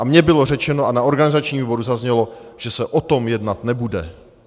A mě bylo řečeno a na organizačním výboru zaznělo, že se o tom jednat nebude.